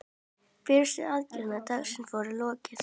Fyrstu aðgerð dagsins var lokið.